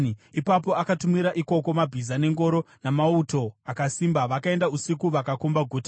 Ipapo akatumira ikoko mabhiza nengoro namauto akasimba. Vakaenda usiku vakakomba guta.